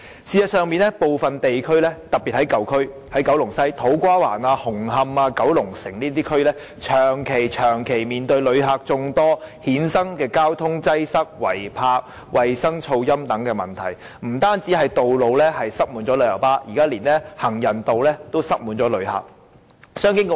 事實上，部分地區，特別是舊區，例如九龍西的土瓜灣、紅磡、九龍城等地區，正長期面對由旅客衍生的眾多問題，包括交通擠塞、違泊、衞生和噪音等問題，不單道路上擠滿旅遊巴士，現在連行人道也擠滿了旅客。